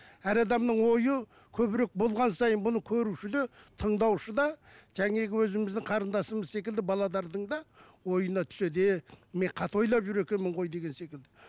әр адамның ойы көбірек болған сайын бұны көруші де тыңдаушы да өзіміздің қарындасымыз секілді да ойына түседі е мен қате ойлап жүр екенмін ғой деген секілді